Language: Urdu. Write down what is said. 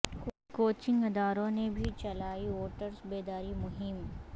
کو چنگ اداروں نے بھی چلائی ووٹرس بیداری مہم